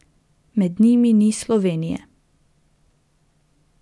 Med njimi ni Slovenije.